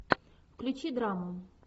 включи драму